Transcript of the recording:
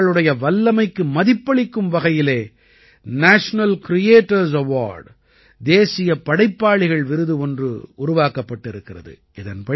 இவர்களுடைய வல்லமைக்கு மதிப்பளிக்கும் வகையிலே நேஷனல் கிரியேட்டர்ஸ் அவார்ட் தேசிய படைப்பாளிகள் விருது ஒன்று உருவாக்கப்பட்டிருக்கிறது